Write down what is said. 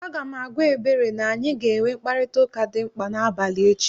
Aga m agwa Ebere na anyị ga-enwe mkparịtaụka dị mkpa n'abalị echi